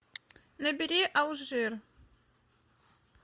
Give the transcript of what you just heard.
набери алжир